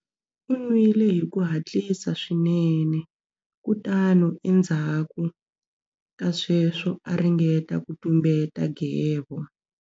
U nwile hi ku hatlisa swinene kutani endzhaku ka sweswo a ringeta ku tumbeta nghevo.